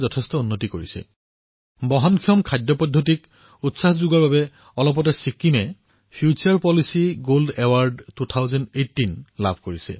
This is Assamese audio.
কিছুদিন পূৰ্বে ছিক্কিমে বহনক্ষম খাদ্য ব্যৱস্থাপনাক উৎসাহিত কৰাৰ বাবে প্ৰখ্যাত ফুটোৰে পলিচী গোল্ড এৱাৰ্ড 2018 লাভ কৰিছে